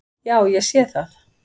Já, ég sé það!